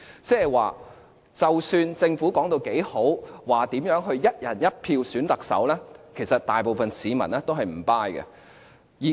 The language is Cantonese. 即是說不管政府說得有多好，說如何"一人一票"選舉特首，其實大部分市民是"唔 buy"。